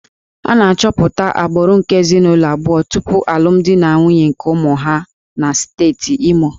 A na-achọpụta agbụrụ nke ezinụlọ abụọ tupu alụmdi na nwunye nke ụmụ ha na steeti Imo